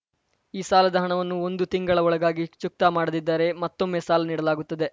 ಈ ಸಾಲದ ಹಣವನ್ನು ಒಂದು ತಿಂಗಳ ಒಳಗಾಗಿ ಚುಕ್ತಾ ಮಾಡದಿದ್ದರೆ ಮತ್ತೊಮ್ಮೆ ಸಾಲ ನೀಡಲಾಗುತ್ತದೆ